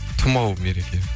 тымау мереке